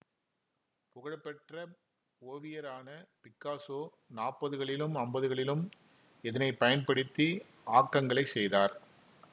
புகழ பெற்ற ஓவியரான பிக்காசோ நாப்பதுகளிலும் அம்பதுகளிலும் இதனை பயன்படுத்தி ஆக்கங்களைச் செய்தார்